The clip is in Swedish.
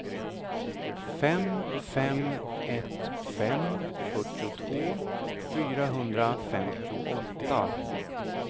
fem fem ett fem fyrtiotvå fyrahundrafemtioåtta